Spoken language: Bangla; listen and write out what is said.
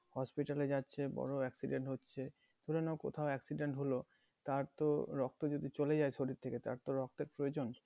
hospital যাচ্ছে বড় accident হচ্ছে ধরে নাও কোথাও accident হলো তার তো রক্ত যদি চলে যায় শরীর থেকে তার তো রক্তের প্রয়োজন